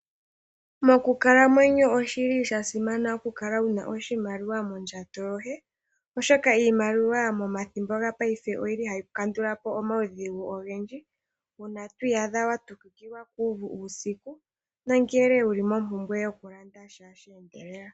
Mokukalamwenyo oshi li sha simana oku kala wu na oshimaliwa mondjato yoye oshoka iimaliwa momathimbo gopaife oyili hayi kandula po omaudhigu ogendji. Uuna to iyadha wa tukukilwa kuuvu uusiku nongele wuli mompumbwe yokulandasha she endelela.